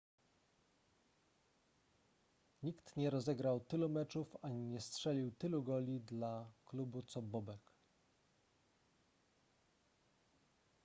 nikt nie rozegrał tylu meczów ani nie strzelił tylu goli dla klubu co bobek